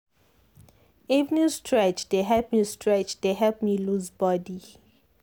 evening stretch dey help stretch dey help me loose body.